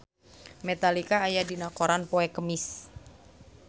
Metallica aya dina koran poe Kemis